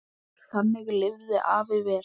Þannig lifði afi vel.